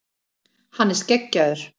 Hann er skeggjaður.